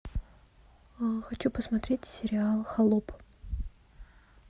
хочу посмотреть сериал холоп